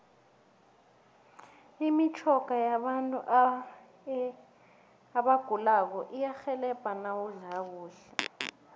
imitjhoga yabagulako iyarhelebha nawudla kahle